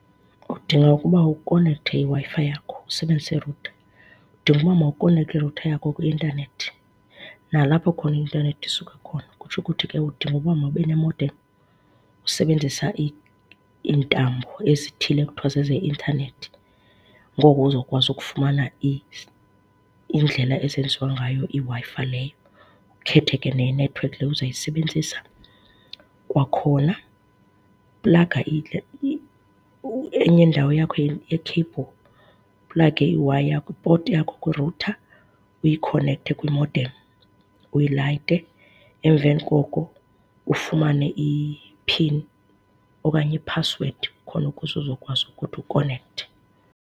Udinga ukuba ukhonekthe iWi-Fi yakho usebenzise irutha, udinga uba mawukhonekte irutha yakho kwi-intanethi nalapho kukhona i-intanethi isuka khona. Kutsho ukuthi ke udinga uba mawube ne-modem usebenzisa iintambo ezithile ekuthiwa zezeintanethi, ngoko uzokwazi ukufumana iindlela ezenziwa ngayo iWi-Fi leyo ukhethe ke nenethiwekhi leyo uzayisebenzisa. Kwakhona plaga enye indawo yakho ye-cable, uplage i-wire yakho, i-port yakho kwirutha uyikhonekthe kwi-modem uyilayite. Emveni koko ufumane i-pin okanye iphasiwedi khona ukuze uzokwazi ukuthi ukhonekthe.